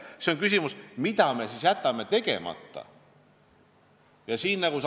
Seega tekib küsimus: mida me siis tegemata jätame?